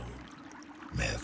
með